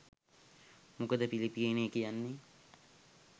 මොකද පිලිපීනය කියන්නේ